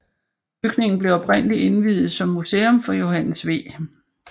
Bygningen blev oprindelig indviet som museum for Johannes V